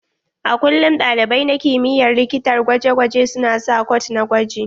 A kullum ɗalibai na kimiyyar likitar gwaje gwaje su na sa kwat na gwaji.